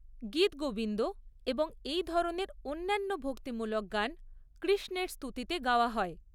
গীতগোবিন্দ এবং এই ধরনের অন্যান্য ভক্তিমূলক গান কৃষ্ণের স্তুতিতে গাওয়া হয়।